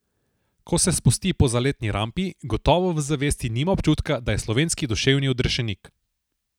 Ko se spusti po zaletni rampi, gotovo v zavesti nima občutka, da je slovenski duševni odrešenik.